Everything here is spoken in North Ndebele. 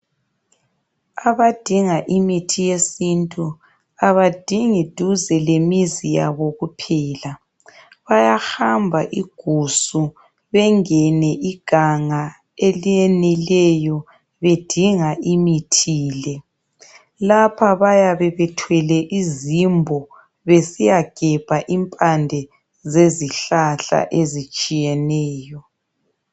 Abadinga imithi yesintu abadingi duze lemizi yabo kuphela. Bayahamba igusu bengene iganga eliyenileyo bedinga imithi le. Lapha bayabe bethwele izimbo besiyagebha impande zezihlahla ezitshiyeneyo.